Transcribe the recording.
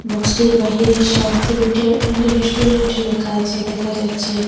Box টির বাহিরে Shanti hotel and restaurant লেখা আচে দেখা যাচ্চে।